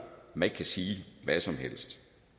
at man ikke kan sige hvad som helst